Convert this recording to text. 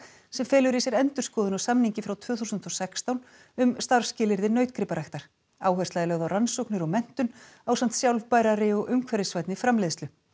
sem felur í sér endurskoðun á samningi frá tvö þúsund og sextán um starfsskilyrði nautgriparæktar áhersla er lögð á rannsóknir og menntun ásamt sjálfbærari og umhverfisvænni framleiðslu